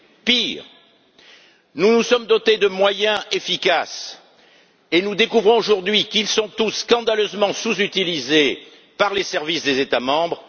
Pire, nous nous sommes dotés de moyens efficaces et nous découvrons aujourd'hui qu'ils sont tous scandaleusement sous utilisés par les services des États membres.